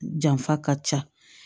Janfa ka ca